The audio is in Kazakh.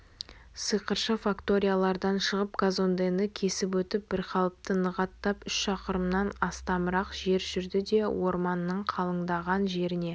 сиқыршы факториядан шығып казондені кесіп өтіп бірқалыпты нық аттап үш шақырымнан астамырақ жер жүрді де орманның қалыңдаған жеріне